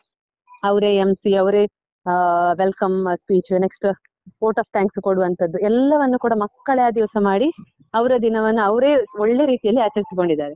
ಅವ್ರೆ MC ಅವ್ರೆ ಅಹ್ welcome speech next vote of thanks ಕೊಡುವಂತದ್ದು, ಎಲ್ಲವನ್ನು ಕೂಡ ಮಕ್ಕಳೇ ಆ ದಿವಸ ಮಾಡಿ ಅವ್ರ ದಿನವನ್ನ ಅವ್ರೆ ಒಳ್ಳೆ ರೀತಿಯಲ್ಲಿ ಆಚರಿಸಿಕೊಂಡಿದ್ದಾರೆ.